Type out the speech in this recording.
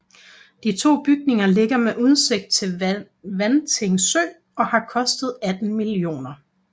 De to bygninger ligger med udsigt til Vanting Sø og har kostet 18 mio